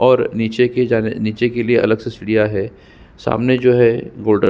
और नीचे की जग नीचे के लिए अलग से सीढ़ियां है सामने जो है --